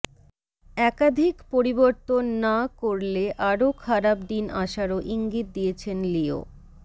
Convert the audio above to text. একাধিক পরিবর্তন না করেল আরও খারাপ দিন আসারও ইঙ্গিত দিয়েছেন লিও